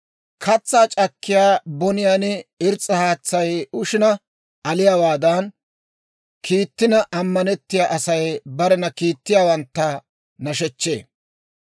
Katsaa c'akkiyaa boniyaan irs's'a haatsay ushina aliyaawaadan, kiittina ammanettiyaa Asay barena kiittiyaawantta nashechchee.